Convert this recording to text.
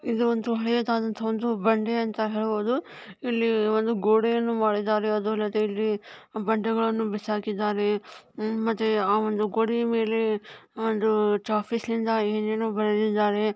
ಇದು ಒಂದು ಹಳೆಯದಾದಂತ ಒಂದು ಬಂಡೇ ಅಂತ ಹೇಳ್ಬಹುದು. ಇಲ್ಲಿ ಒಂದು ಗೋಡೆಯನ್ನ ಮಾಡಿದರೆ ಅದು ಅಲ್ಲದೇ ಇಲ್ಲಿ ಬಂಡೆಗಳನ್ನ ಬಿಸಾಕಿದ್ದಾರೆ. ಉಮ್ ಮತ್ತೆ ಆ ಗೋಡೆಯ ಮೇಲೆ ಒಂದು ಚಾಪಿಸ್ ಇಂದ ಏನ್ ಏನೋ ಬರೆದ್ದಿದಾರೆ.